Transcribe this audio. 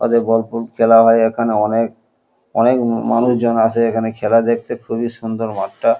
ওদের বল্পুল খেলা হয় এখানে অনেক অনেক মানুষজন আসে এখানে খেলা দেখতে খুবই সুন্দর মাঠটা।